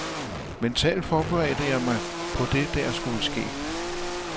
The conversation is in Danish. Mentalt forberedte jeg mig på det der skulle ske.